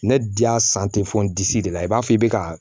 Ne di y'a fɔ n disi de la i b'a fɔ i bɛ ka